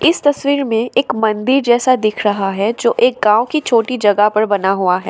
इस तस्वीर में एक मंदिर जैसा दिख रहा है जो एक गांव की छोटी जगह पर बना हुआ है।